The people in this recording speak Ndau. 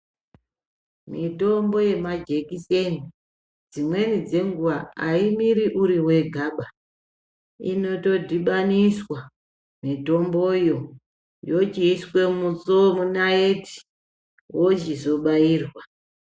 Mitombbo yemajekiseni dzimweni dzenguwa aimiri uri wegaba inotodhibaniswa mitomboyo yochiiswe munaiti wochizobairwa.